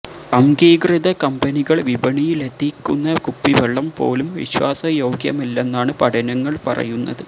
അംഗീകൃത കമ്പനികള് വിപണിയിലെത്തിക്കുന്ന കുപ്പിവെള്ളം പോലും വിശ്വാസ യോഗ്യമല്ലെന്നാണ് പഠനങ്ങള് പറയുന്നത്